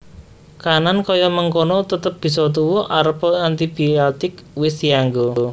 Kahanan kaya mengkono tetep bisa tuwuh arepa antibiotik wis dianggo